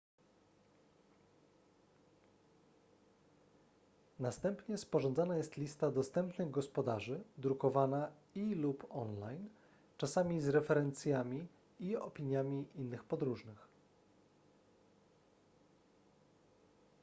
następnie sporządzana jest lista dostępnych gospodarzy drukowana i / lub online czasami z referencjami i opiniami innych podróżnych